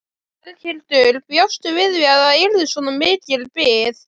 Berghildur: Bjóstu við því að það yrði svona mikil bið?